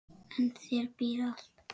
En í þér býr allt.